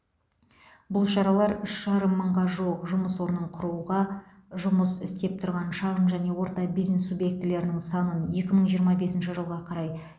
бұл шаралар үш жарым мыңға жуық жұмыс орнын құруға жұмыс істеп тұрған шағын және орта бизнес субъектілерінің санын екі мың жиырма бесінші жылға қарай